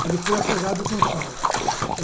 Que ele foi afogado com sal.